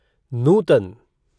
नूतन